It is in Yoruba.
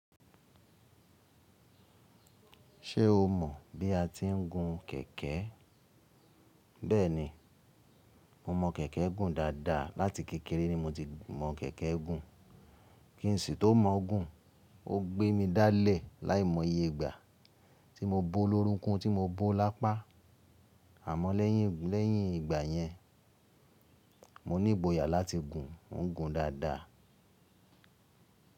Ṣé o mọ̀ bí a ti ń gun kẹ̀kẹ́? Bẹ́ẹ̀ni, mo mọ kẹ̀kẹ́ gùn dáadáa. Láti kékeré ni mo ti mọ̀ kẹ̀kẹ́ gùn. Kí n sì tó mọ̀ ọ́ gùn, ó gbé mi dálẹ̀ láìmọye ìgbà tí mo bo lórunkún tí mo bo lápá. Àmọ́ lẹ́yìn, lẹ́yìn ìgbà yẹn, mo ní ìgboyà láti gùn. Mo ń gùn dáadáa.